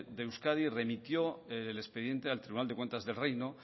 de euskadi remitió el expediente al tribunal de cuentas del reino